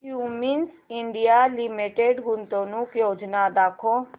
Cummins India limited गुंतवणूक योजना दाखव